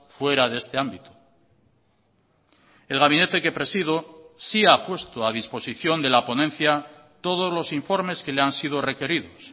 fuera de este ámbito el gabinete que presido sí ha puesto a disposición de la ponencia todos los informes que le han sido requeridos